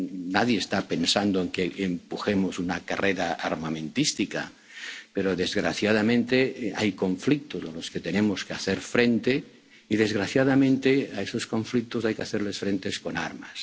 Sí, carrera armamentística. No, nadie está pensando en que empujemos una carrera armamentística pero, desgraciadamente, hay conflictos a los que tenemos que hacer frente y, desgraciadamente, a esos conflictos hay que